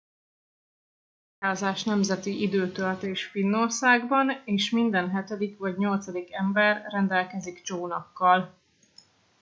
a csónakázás nemzeti időtöltés finnországban és minden hetedik vagy nyolcadik ember rendelkezik csónakkal